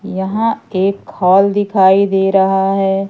यहाँ एक हाॅल दिखाइ दे रहा है।